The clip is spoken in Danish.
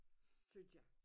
Synes jeg